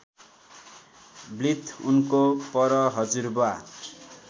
blithe उनको परहजुरबुवा